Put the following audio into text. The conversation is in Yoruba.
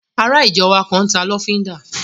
Ará ìjọ wa kan n ta lọ́fíndà